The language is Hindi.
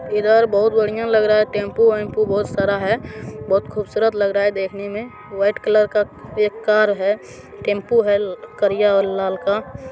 इधर बहुत बढ़िया लग रहा है टैम्पू वैम्पू बहुत सारा है। बहुत खूबसूरत लग रहा है देखने में वाइट कलर का एक कार है टैम्पू है करिया और लाल का---